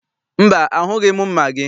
Mba, ahụghị m mma gị.